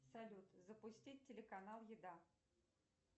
салют запустить телеканал еда